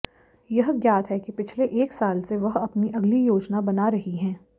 यह ज्ञात है कि पिछले एक साल से वह अपनी अगली योजना बना रही हैं